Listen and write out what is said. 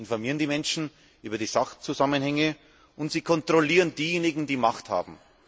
Sie informieren die Menschen über die Sachzusammenhänge und sie kontrollieren diejenigen, die Macht haben.